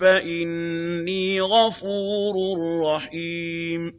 فَإِنِّي غَفُورٌ رَّحِيمٌ